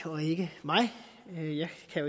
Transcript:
jeg